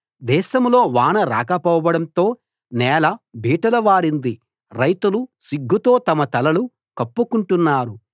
దేశంలో వాన రాకపోవడంతో నేల బీటలు వారింది రైతులు సిగ్గుతో తమ తలలు కప్పుకుంటున్నారు